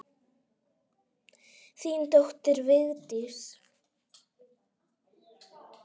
Þín dóttir, Vigdís.